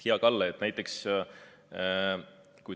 Hea Kalle!